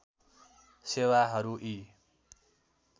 सेवाहरू यी